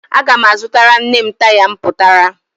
Aga m azụtara nne m taya mpụtara